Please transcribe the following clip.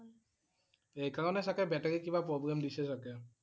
সেইকাৰণে চাগে battery কিবা problem দিছে চাগে ।